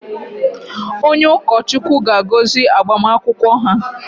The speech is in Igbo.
Onye ụkọchukwu ga-agọzi agbamakwụkwọ ha